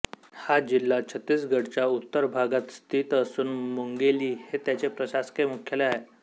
हा जिल्हा छत्तीसगढच्या उत्तर भागात स्थित असून मुंगेली हे त्याचे प्रशासकीय मुख्यालय आहे